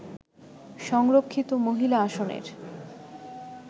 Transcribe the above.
সংরক্ষিত মহিলা আসনের